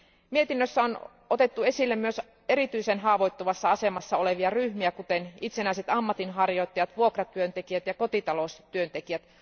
Mietinnössä on otettu esille myös erityisen haavoittuvassa asemassa olevia ryhmiä kuten itsenäiset ammatinharjoittajat, vuokratyöntekijät ja kotitaloustyöntekijät.